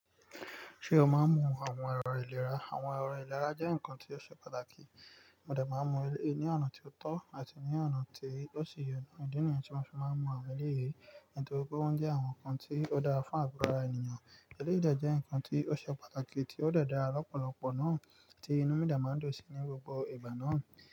Ṣé o máa ń mu àwọn ẹ̀rọ ìlera? Àwọn ẹ̀rọ ìlera jẹ́ nǹkan tí ó ṣe pàtàkì. Mo de máa ń mu eleyi ní ọ̀nà tí ó tọ́ àti ní ọ̀nà tí ó ṣi ye. Ìdí nìyẹn tí mo fi máa ń mu àwọn eléyìí nítorí pé wọ́n jẹ́ àwọn nǹkan tí ó dára fún àgọ ara ènìyàn. Eléyìí dẹ jẹ́ nǹkan tí ó ṣe pàtàkì tí ó dàda lọ́pọ̀lọpọ̀ náà tí inú mi dẹ̀ máa ń dùn sí ní gbogbo ìbà náà.